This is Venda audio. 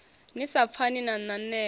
ni sa pfani na nanela